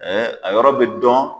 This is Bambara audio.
a yɔrɔ bɛ dɔn.